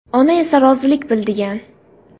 Ona esa rozilik bildigan.